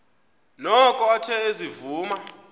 noko athe ezivuma